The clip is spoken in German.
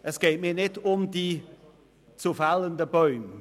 Es geht mir nicht um die zu fällenden Bäume.